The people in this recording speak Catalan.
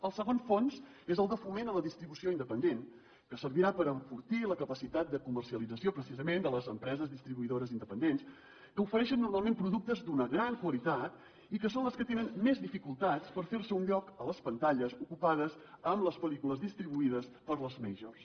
el segon fons és el de foment a la distribució independent que servirà per enfortir la capacitat de comercialització precisament de les empreses distribuïdores independents que ofereixen normalment productes d’una gran qualitat i que són les que tenen més dificultats per fer se un lloc a les pantalles ocupades amb les pel·lícules distribuïdes per les majors